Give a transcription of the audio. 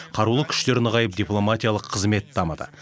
қарулы күштер нығайып дипломатиялық қызмет дамыды